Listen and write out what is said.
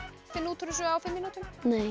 finna út úr þessu á fimm mínútum